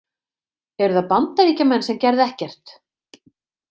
Eru það Bandaríkjamenn sem gerðu ekkert?